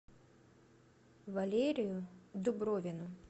валерию дубровину